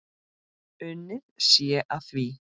Unnið sé að því.